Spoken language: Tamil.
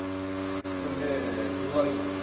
Next வந்து குருவாயூர்.